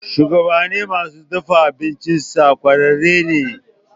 Shugaban masu dafa abincinsa ƙwararre ne.